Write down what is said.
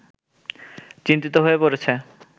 চিন্তিত হয়ে পড়েছে